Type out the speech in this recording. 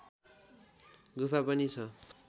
गुफा पनि छ